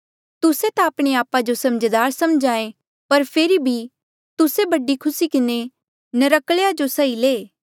तुस्से ता आपणे आपा जो समझदार समझे पर फेरी भी तुस्से बड़ी खुसी किन्हें नर्क्कल्या जो सही ले